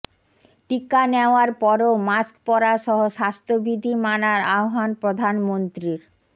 টিকা নেওয়ার পরও মাস্ক পরাসহ স্বাস্থ্যবিধি মানার আহ্বান প্রধানমন্ত্রীর